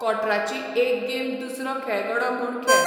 कॉंट्राची एक गेम दुसरो खेळगडो म्हूण खेळ